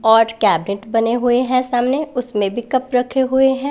आठ कैबनेट बने हुए हैं सामने उसमें भी कप रखे हुए हैं।